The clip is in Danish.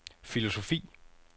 filosofi